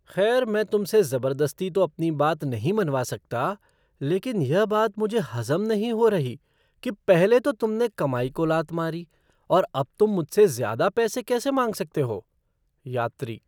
खैर, मैं तुमसे ज़बरदस्ती तो अपनी बात नहीं मनवा सकता, लेकिन यह बात मुझे हज़म नहीं हो रही कि पहले तो तुमने कमाई को लात मारी और अब तुम मुझसे ज़्यादा पैसे कैसे मांग सकते हो। यात्री